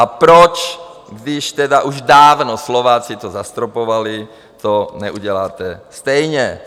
A proč, když tedy už dávno Slováci to zastropovali, to neuděláte stejně.